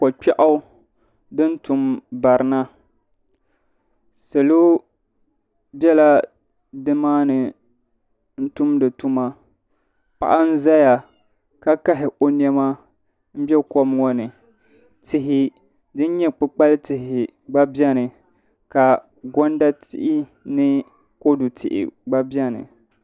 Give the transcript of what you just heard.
Ko'kpɛɣu din tum barina salo bela nimaani n-tumdi tuma paɣa n-zaya ka kahi o nɛma be kom ŋɔ ni tihi din nyɛ kpukpali tihi gba beni ka gɔnda tihi ni kodu tihi gba beni.